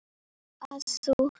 að þú.